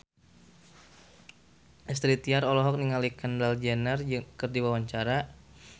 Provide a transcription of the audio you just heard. Astrid Tiar olohok ningali Kendall Jenner keur diwawancara